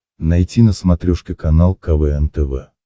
найти на смотрешке канал квн тв